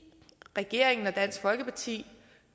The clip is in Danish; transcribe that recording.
regeringen og dansk folkeparti